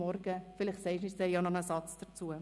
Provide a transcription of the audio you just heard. Vielleicht sagst du noch etwas dazu.